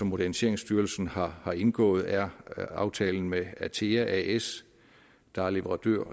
moderniseringsstyrelsen har har indgået er aftalen med atea as der er leverandør